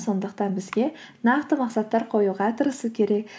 сондықтан бізге нақты мақсаттар қоюға тырысу керек